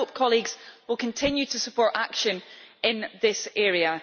I hope that colleagues will continue to support action in this area.